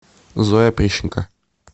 зоя прищенко